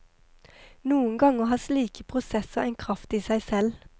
Noen ganger har slike prosesser en kraft i seg selv.